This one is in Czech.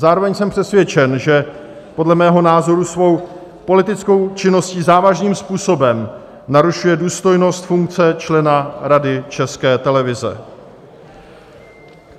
Zároveň jsem přesvědčen, že podle mého názoru svou politickou činností závažným způsobem narušuje důstojnost funkce člena Rady České televize.